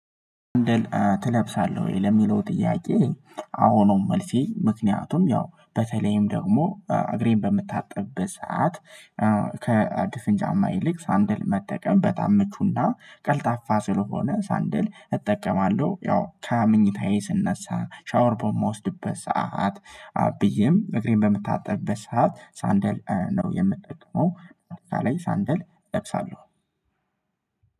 ሰንደል ትለብሳለህ ወይ ለሚለው ጥያቄ? አዎ ነው መልሴ ምክንያቱም ያው በተለይም ደግሞ እግሬን በምታጠብበት ሰዓት ከድፍን ጫማ ይልቅ ሳንድል መጠቀም በጣም ምቹና ቀልጣፋ ስለሆነ ሳንድል እጠቀማለሁ ያው ከምኝታዬ ስነሳ ሻወር በመውሰድበት ሰዓት ብዬም እግሬን በምታጠብበት ሰዓት ሳንደል ነው የምጠቅመው በአጠቃላይ ሳንደል እለብሳለሁ።